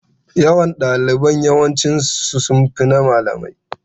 Yawan ɗalibai yawanci sun fi na malamai.